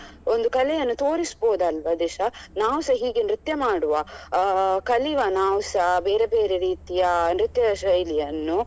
ಒಂದು ಕಲೆಯನ್ನು ತೋರಿಸಬೋದು ಅಲ್ವಾ ದಿಶಾ ನಾವು ಸ ಹೀಗೆ ನೃತ್ಯ ಮಾಡುವ ಅಹ್ ಕಲಿವ ನಾವು ಸ ಬೇರೆ ಬೇರೆ ರೀತಿಯ ನೃತ್ಯ ಶೈಲಿಯನ್ನು